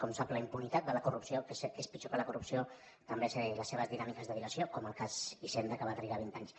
com sap la impunitat de la corrupció que és pitjor que la corrupció també té les seves dinàmiques de dilació com el cas hisenda que va trigar vint anys